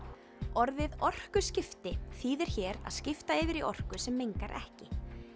orðið orkuskipti þýðir hér að skipta yfir í orku sem mengar ekki